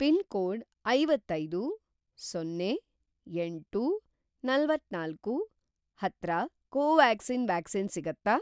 Pin code ಐವತ್ತೈದು, ಸೊನ್ನೆ, ಎಂಟು, ನಲವತ್ತನಾಲ್ಕು ಹತ್ರ ಕೋವ್ಯಾಕ್ಸಿನ್ ವ್ಯಾಕ್ಸಿನ್ ಸಿಗತ್ತಾ?